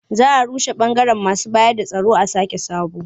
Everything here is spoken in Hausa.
Za a rushe ɓangaren masu bayarda tsaro a sake sabo.